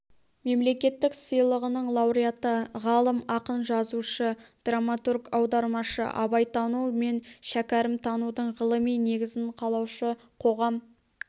мемлекеттік сыйлығының лауреаты ғалым ақын жазушы драматург аудармашы абайтану мен шәкәрімтанудың ғылыми негізін қалаушы қоғам